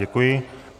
Děkuji.